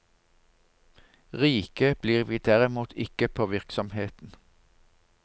Rike blir vi derimot ikke på virksomheten.